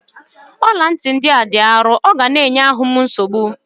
ọla ntị a dị arọ ọ ga-enye m ahụ nsogbu